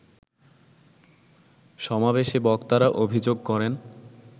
সমাবেশে বক্তারা অভিযোগ করেন